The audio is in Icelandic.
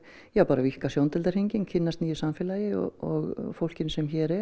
víkka sjóndeildarhringinn kynnast nýju samfélagi og fólkinu sem hér er